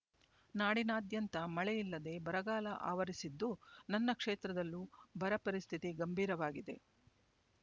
ನಾಡಿನಾದ್ಯಂತ ಮಳೆಯಿಲ್ಲದೆ ಬರಗಾಲ ಆವರಿಸಿದ್ದು ನನ್ನ ಕ್ಷೇತ್ರದಲ್ಲೂ ಬರ ಪರಿಸ್ಥಿತಿ ಗಂಭೀರವಾಗಿದೆ